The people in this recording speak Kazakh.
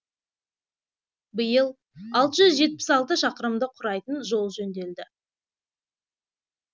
биыл алты жүз жетпіс алты шақырымды құрайтын жол жөнделді